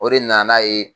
O de nana n'a ye